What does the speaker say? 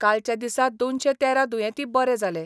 कालच्या दिसा दोनशे तेरा दुयेंती बरे जाले.